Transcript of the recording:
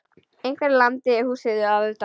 Einhver lamdi húsið að utan.